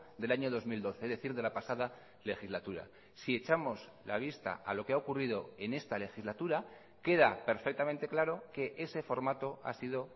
del año dos mil doce es decir de la pasada legislatura si echamos la vista a lo que ha ocurrido en esta legislatura queda perfectamente claro que ese formato ha sido